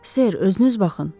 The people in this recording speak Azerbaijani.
Ser, özünüz baxın!